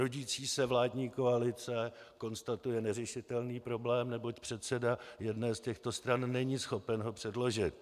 Rodící se vládní koalice konstatuje neřešitelný problém, neboť předseda jedné z těchto stran není schopen ho předložit.